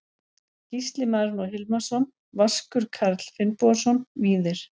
Gísli Marinó Hilmarsson Vaskur Karl Finnbogason Víðir